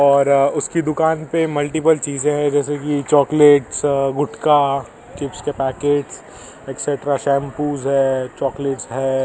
और उसकी दुकान पे मल्टीपल चीजें हैं जैसे कि चॉकलेट्स गुटका चिप्स के पैकेट्स एक्सट्रा शैंपूज हैं चॉकलेट्स हैं।